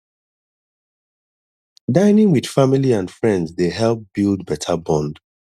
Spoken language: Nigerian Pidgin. dining with family and friends dey help build better bond